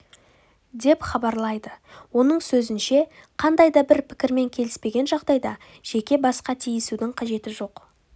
деп хабарлайды оның сөзінше қандай да бір пікірмен келіспеген жағдайда жеке басқа тиісудің қажеті жоқ